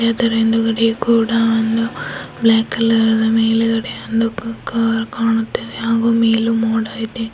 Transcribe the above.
ಅದರ ಹಿಂದುಗಡೆ ಕೂಡ ಒಂದು ಬ್ಲಾಕ್ ಕಲರ್ ದ ಮೇಲುಗಡೆ ಒಂದು ಕಾರ್ ಕಾಣುತಿದೆ ಹಾಗು ಮೇಲು ಮೋಡ ಇದೆ.